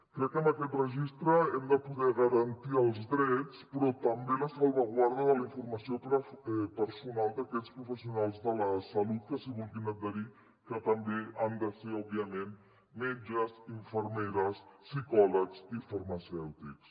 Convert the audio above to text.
crec que amb aquest registre hem de poder garantir els drets però també la salvaguarda de la informació personal d’aquests professionals de la salut que s’hi vulguin adherir que també han de ser òbviament metges infermeres psicòlegs i farmacèutics